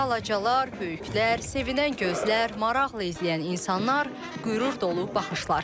Balacalar, böyüklər, sevinən gözlər, maraqla izləyən insanlar, qürur dolu baxışlar.